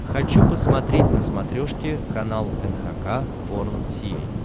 хочу посмотреть на смотрешке канал эн эйч кей волд ти ви